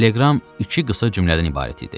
Teleqram iki qısa cümlədən ibarət idi.